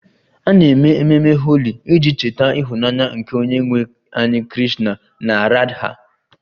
A na-eme ememe Holi iji cheta ịhụnanya nke onyenwe anyị Krishna na Radha